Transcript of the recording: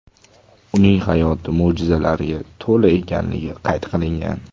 Uning hayoti mo‘jizalarga to‘la ekanligi qayd qilingan.